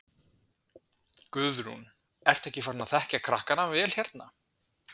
Guðrún: Ertu ekki farin að þekkja krakkana vel hérna?